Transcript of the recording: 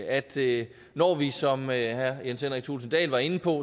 at det når vi som herre jens henrik thulesen dahl var inde på